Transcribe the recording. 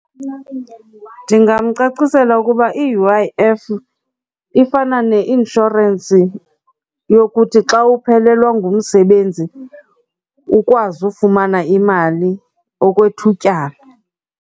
Ndingamcacisela ukuba i-U_I_F ifana neinshorensi yokuthi xa uphelelwa ngumsebenzi ukwazi ufumana imali okwethutyana.